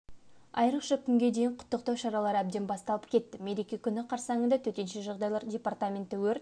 айрықша күнге дейін құттықтау шаралары әбден басталып кетті мереке күні қарсаңында төтенше жағдайлар департаменті өрт